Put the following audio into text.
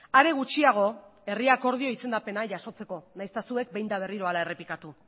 are gutxiago herri akordio izendapena jasotzeko nahiz eta zuek behin eta berriro hala errepikatu